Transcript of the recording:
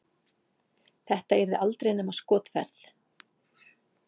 Þetta yrði aldrei nema skotferð.